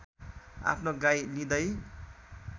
आफ्नो गाई लिँदै